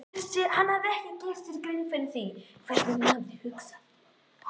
Hann hafði ekki gert sér grein fyrir hvernig hún hugsaði.